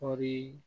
Kɔɔri